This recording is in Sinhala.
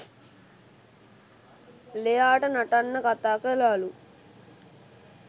ලෙයාට නටන්න කතා කළාලු